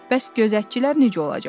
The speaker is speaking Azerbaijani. Bəs gözətçilər necə olacaq?